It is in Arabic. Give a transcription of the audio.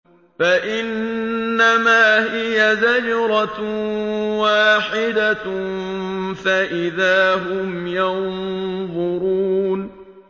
فَإِنَّمَا هِيَ زَجْرَةٌ وَاحِدَةٌ فَإِذَا هُمْ يَنظُرُونَ